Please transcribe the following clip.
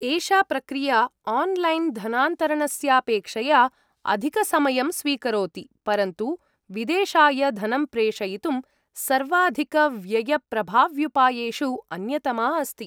एषा प्रक्रिया आन्लैन् धनान्तरणस्यापेक्षया अधिकसमयं स्वीकरोति, परन्तु विदेशाय धनं प्रेषयितुं सर्वाधिकव्ययप्रभाव्युपायेषु अन्यतमा अस्ति।